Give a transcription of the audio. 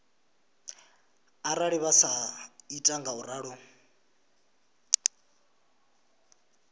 arali vha sa ita ngauralo